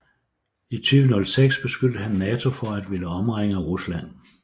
I 2006 beskyldte han NATO for at ville omringe Rusland